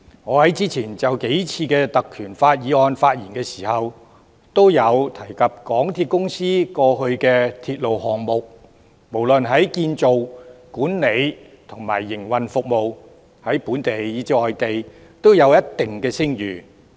我在之前數次就根據《條例》動議的議案發言時，都提及香港鐵路有限公司過往的鐵路項目不論建造、管理和營運服務，在本地以至外地也有一定聲譽。